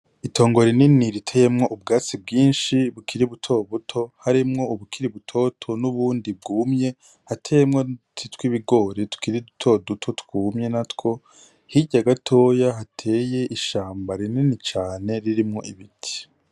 Itongo rinini riteyemwo ubwatsi bwinshi bukiri butoto butoto harimwo ubukiri butoto n'ubundi bwumye, hateyemwo n'uduti tw'ibigori tukiri duto duto twumye na two, hirya gatoya hateye ishamba rinini cane ririmwo ibiti.